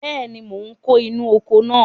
Bẹ́ẹ̀ni, mò ń kó inú oko náà.